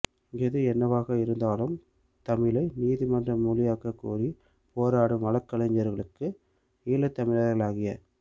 எது என்னவாக இருந்தாலும் தமிழை நீதிமன்ற மொழியாக்க கோரி போராடும் வழக்கறிஞர்களுக்கு ஈழத் தமிழர்களாகிய